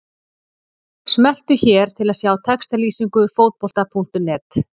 Smelltu hér til að sjá textalýsingu Fótbolta.net.